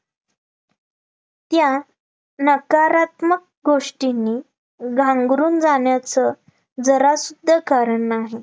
या नकारात्मक गोष्टींनी घांगरून जाण्याचं जरा सुद्धा कारण नाही